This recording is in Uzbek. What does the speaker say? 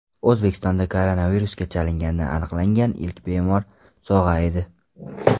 O‘zbekistonda koronavirusga chalingani aniqlangan ilk bemor sog‘aydi.